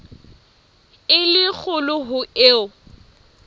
e le kgolo ho eo